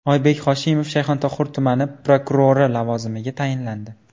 Oybek Hoshimov Shayxontohur tumani prokurori lavozimiga tayinlandi.